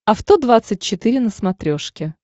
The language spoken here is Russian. авто двадцать четыре на смотрешке